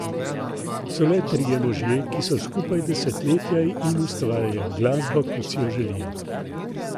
So le trije možje, ki so skupaj desetletje in ustvarjajo glasbo, kot si jo želijo.